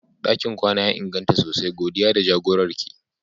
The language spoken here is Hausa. Dakin kwana ya inganta sosai, godiya da jagorar ki.